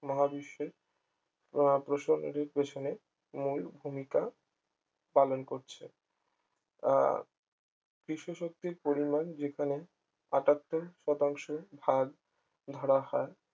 মহাবিশ্বের আহ প্রসঙ্গিক পিছনে মূল ভূমিকা পালন করছে আহ বিশ্বশক্তির পরিমাণ যেখানে আটাত্তর শতাংশ ভাগ ধরা হয়